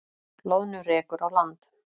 Loðnu rekur á land